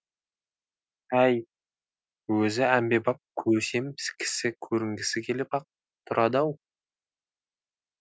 әй өзі әмбебап көсем кісі көрінгісі келіп ақ тұрады ау